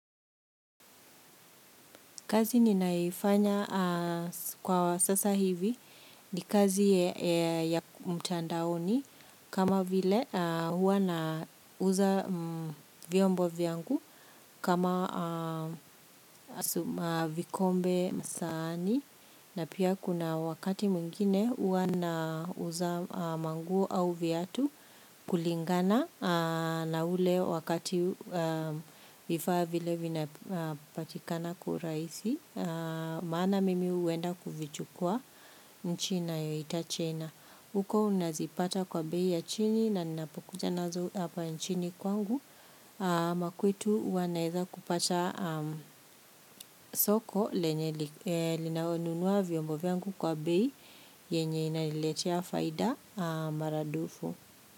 Kazi ninayoifanya kwa sasa hivi ni kazi ya mtandaoni kama vile huwa nauza vyombo vyangu kama vikombe, sahani na pia kuna wakati mwingine huwa nauza manguo au viatu kulingana na ule wakati vifaa vile vinapatikana kwa urahisi. Maana mimi huenda kuvichukua nchi nayoita China. Huko unazipata kwa bei ya chini na ninapokuja nazo hapa nchini kwangu. Makwetu huwa naweza kupata soko lenye linanunua vyombo vyangu kwa bei yenye inaniletea faida maradufu.